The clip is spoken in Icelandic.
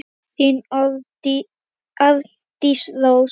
Þín, Arndís Rós.